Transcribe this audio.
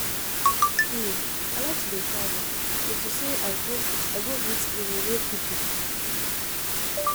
um I like to dey travel into say I go I go meet um new people